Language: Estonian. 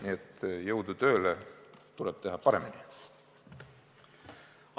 Nii et jõudu tööle, tuleb teha paremini!